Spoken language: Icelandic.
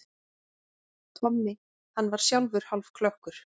Tommi, hann var sjálfur hálfklökkur.